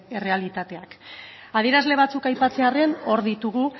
errealitateak adierazle batzuk aipatzearren hor ditugu